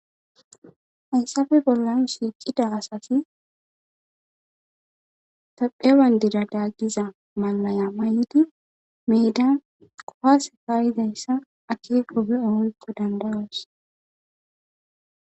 Hayssafe bollan shiiqida asati taphewandira daaggiza maya mayidi meeda kofase paayidayssa akeekobe ohoykko danbayos.